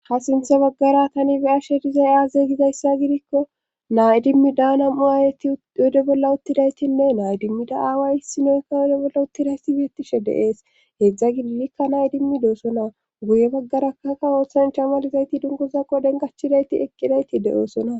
ha sinthe baggara tani bi7ashe dizay aazeeygizayssa gidikko naayidimmi daana mu aayeti yode bolla uttidaytinne nayidimmida aaway hissinoykka yode bolla uttidayti biettishe deees heedzdza gilikka nayi dimmidoosona guye baggarakakka ooththanchamalizayti dungozaqo denkachidayti eqqidayti de7oosona